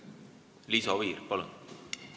Liisa Oviir, palun!